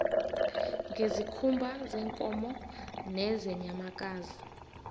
ngezikhumba zeenkomo nezeenyamakazi